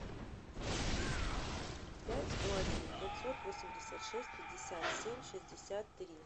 пять сто один пятьсот восемьдесят шесть пятьдесят семь шестьдесят три